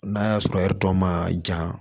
N'a y'a sɔrɔ ɛri dɔ ma jan